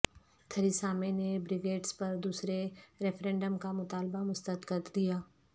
Theresa May نے Brexit پر دوسرے ریفرنڈم کا مطالبہ مسترد کر دیا